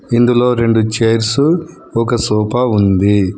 ఇందులో రెండు చైర్సు ఒక సోఫా ఉంది.